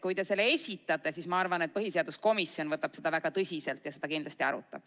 Kui te selle esitate, siis ma arvan, et põhiseaduskomisjon võtab seda väga tõsiselt ja kindlasti seda ka arutab.